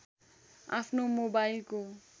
आफ्नो मोबाइलको